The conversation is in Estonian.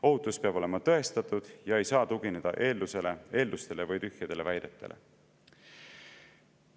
Ohutus peab olema tõestatud ega saa tugineda eeldustele või tühjadele väidetele.